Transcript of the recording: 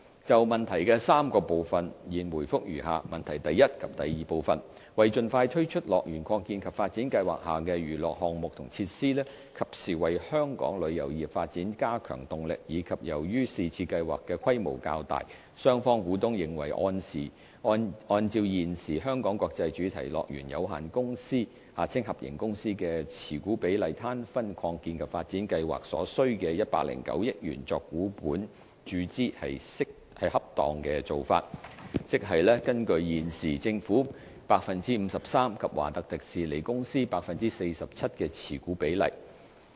就質詢的3個部分，現答覆如下：一及二為盡快推出樂園擴建及發展計劃下的娛樂項目和設施，及時為本港旅遊業發展加強動力，以及由於是次計劃的規模較大，雙方股東認為按照現時"香港國際主題樂園有限公司"的持股比率攤分擴建及發展計劃所需的109億元作股本注資是恰當的做法，即是根據現時政府 53% 及華特迪士尼公司 47% 的持股比率。